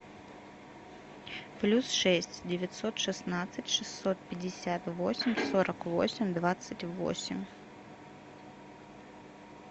плюс шесть девятьсот шестнадцать шестьсот пятьдесят восемь сорок восемь двадцать восемь